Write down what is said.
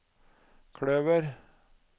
kløver